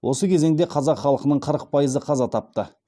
осы кезеңде қазақ халқының қырық пайызы қаза тапты